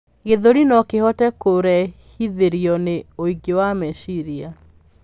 gĩthũri nokihote kurehithirio ni ũingĩ wa meciira